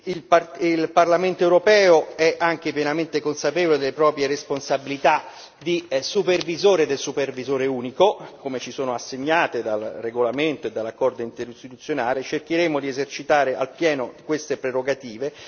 Il Parlamento europeo è anche pienamente consapevole delle proprie responsabilità di supervisore del supervisore unico, come ci sono assegnate dal regolamento e dall'accordo interistituzionale e cercheremo di esercitare appieno queste prerogative.